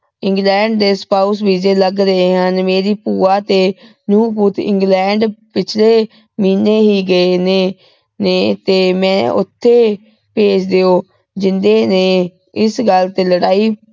england ਦੇ spousevise ਲਗ ਰਹੇ ਹਨ ਮੇਰੀ ਭੂਆ ਤੇ ਨੂੰਹ ਪੁਤ england ਪਿਛਲੇ ਮਹੀਨੇ ਹੀ ਗਏ ਨੇ ਨੇ ਤੇ ਮੈਂ ਉਥੇ ਭੇਜ ਦੀਓ ਜਿੰਦੇ ਨੇ ਇਸ ਗੱਲ ਤੇ ਲੜਾਈ